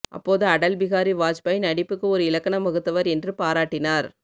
அப்போது அடல் பிகாரி வாஜ்பாய் நடிப்புக்கு ஒரு இலக்கணம் வகுத்தவர் என்று பாராட்டினார்